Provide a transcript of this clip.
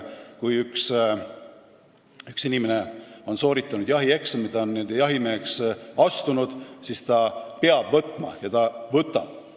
Kui üks inimene on sooritanud eksami, ta on n-ö jahimeheks astunud, siis ta peab selle eetika omaks võtma ja ka võtab.